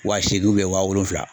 Wa seegin wa wolonwula